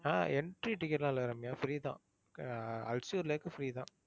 ஆஹ் entry ticket லாம் இல்ல Ramya free தான். அ~ அல்சூர் லேக் free தான்.